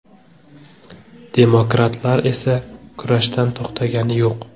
Demokratlar esa kurashdan to‘xtagani yo‘q.